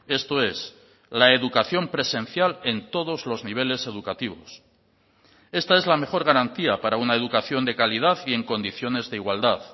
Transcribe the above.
esto es la educación presencial en todos los niveles educativos esta es la mejor garantía para una educación de calidad y en condiciones de igualdad